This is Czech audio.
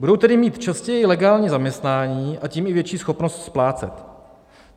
Budou tedy mít častěji legální zaměstnání, a tím i větší schopnost splácet.